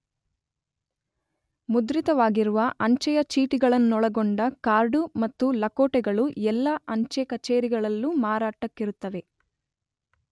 ಮುದ್ರಿತವಾಗಿರುವ ಅಂಚೆಯ ಚೀಟಿಗಳನ್ನೊಳಗೊಂಡ ಕಾರ್ಡು ಮತ್ತು ಲಕೋಟೆಗಳು ಎಲ್ಲ ಅಂಚೆ ಕಚೇರಿಗಳಲ್ಲೂ ಮಾರಾಟಕ್ಕಿರುತ್ತವೆ.